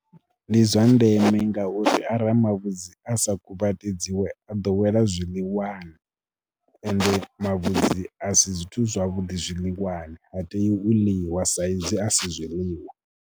Ndi zwa ndeme ngauri ara mavhudzi a sa kuvhatedzeiwe a ḓo wela zwiḽiwani, ende mavhudzi a si zwithu zwavhuḓi zwiḽiwani, ha tei u ḽiwa saizwi a si zwiḽiwa.